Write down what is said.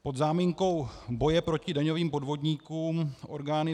Pod záminkou boje proti daňovým podvodníkům orgány